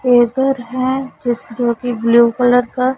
है जिस जो कि ब्ल्यू कलर का--